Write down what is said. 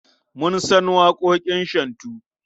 Mun san waƙoƙin shantu.